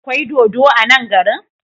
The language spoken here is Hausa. Akwai dodo a nan garin?